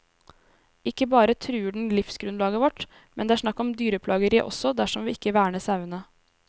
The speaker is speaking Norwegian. Ikke bare truer den livsgrunnlaget vårt, men det er snakk om dyreplageri også dersom vi ikke verner sauene.